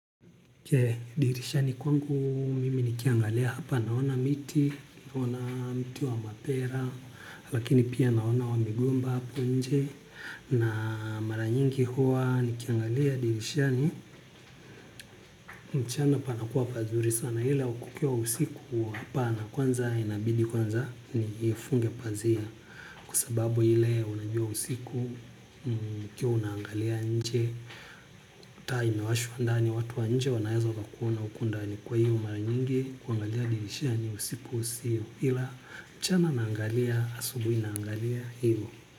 Je dirishani kwangu mimi nikiangalia hapa naona miti, naona miti wa mapera, lakini pia naona wa migomba hapo nje na mara nyingi huwa nikiangalia dirishani mchana panakuwa pazuri sana ila kukukiwa usiku hapana kwanza inabidi kwanza niifunge pazia kwa sababu hile unajua usiku ukiwa unangalia nje. Taa imewashwa ndani watu nje wanaeza wakakuona huku ndani kwa hivyo mara nyingi kuangalia dirishani usiku siyo. Hila mchama naangalia asubuhi naangalia hivo.